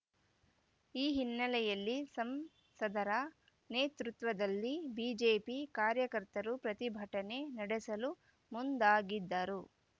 ಈ ಹಿನ್ನೆಲೆಯಲ್ಲಿ ಸಂಸದರ ನೇತೃತ್ವದಲ್ಲಿ ಬಿಜೆಪಿ ಕಾರ್ಯಕರ್ತರು ಪ್ರತಿಭಟನೆ ನಡೆಸಲು ಮುಂದಾಗಿದ್ದರು